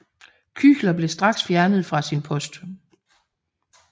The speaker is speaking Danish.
Küchler blev straks fjernet fra sin post